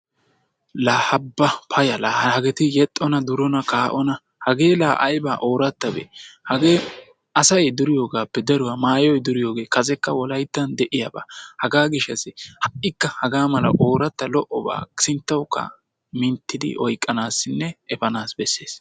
laa ha ba paya laa hageeti yexxona durona kaa'ona hagee laa ayiba oorattabee? hagee asay duriyoogaappe daruwaa maayoy duriyoogee kasekka wolayittan de'iyaaba. hegaa gishshassi ha'ikka hagaamala oorrattaba lo'obaa sinttawukka minttidi oyiqanaassinne epanaassi besses.